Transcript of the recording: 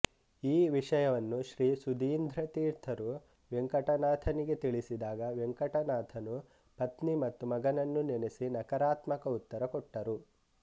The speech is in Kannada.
ಈ ವಿಷಯವನ್ನು ಶ್ರೀ ಸುಧೀಂದ್ರ ತೀರ್ಥರು ವೆಂಕಟನಾಥನಿಗೆ ತಿಳಿಸಿದಾಗ ವೆಂಕಟನಾಥನು ಪತ್ನಿ ಮತ್ತು ಮಗನನ್ನು ನೆನಸಿ ನಕಾರತ್ಮಕ ಉತ್ತರ ಕೊಟ್ಟರು